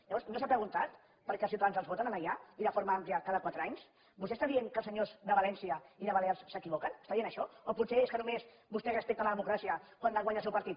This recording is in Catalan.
llavors no s’ha preguntat per què els ciutadans els voten allà i forma àmplia cada quatre anys vostè està dient que els senyors de valència i de balears s’equivoquen està dient això o potser és que només vostè respecta la democràcia quan guanya el seu partit